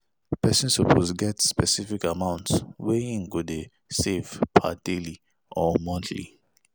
Persin suppose get specific amount wey him go de save per daily or monthly